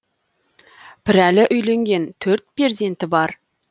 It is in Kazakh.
пірәлі үйленген төрт перзенті бар